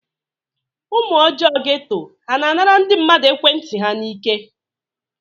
Ụmụ ọjọọ geto ha na-anara ndị mmadụ ekwentị ha n'ike?